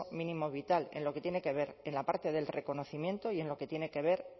mínimo vital en lo que tiene que ver en la parte del reconocimiento y en lo que tiene que ver